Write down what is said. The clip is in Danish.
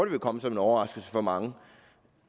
vil komme som en overraskelse for mange